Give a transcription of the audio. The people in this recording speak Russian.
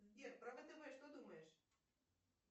сбер про втб что думаешь